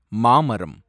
மாமரம்